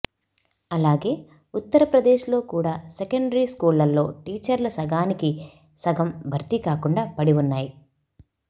అలాగే ఉత్తర ప్రదేశ్లో కూడా సెకండరీ స్కూళ్లలో టీచర్ల సగానికి సగం భర్తీ కాకుండా పడిఉన్నాయి